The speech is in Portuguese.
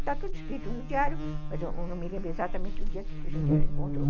Está tudo escrito no diário, mas eu não me lembro exatamente o dia que a gente se encontrou.